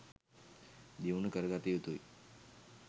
දියුණු කරගත යුතුයි